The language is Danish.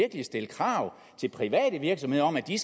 at stille krav til private virksomheder om at de